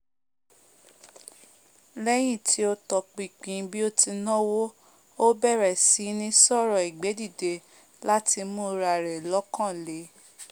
lẹ́yín tí ó tọpinpin bí ó tí náwó ó bẹ̀rẹ̀ síní sọ̀rọ̀ ìgbédìde láti mú ra rẹ̀ lọ́kan le